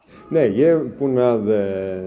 ég er búinn að